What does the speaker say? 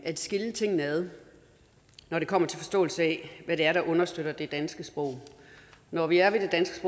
at skille tingene ad når det kommer til forståelsen af hvad det er der understøtter det danske sprog og når vi er ved det danske